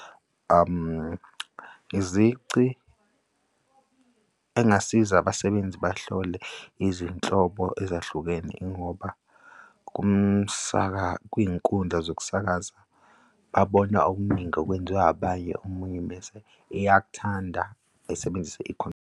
Izici engasiza abasebenzi bahlole izinhlobo ezahlukene ingoba kwiy'nkundla zokusakaza babona okuningi okwenziwa abanye omunye mese eyakuthanda esebenzise .